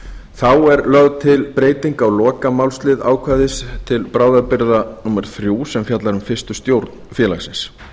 þá er lögð til breyting á lokamálslið ákvæðis til bráðabirgða númer þrjú sem fjallar um fyrstu stjórn félagsins